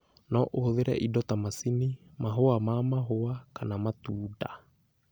No ũhũthĩre indo ta macini, mahũa ma mahũa, kana matunda.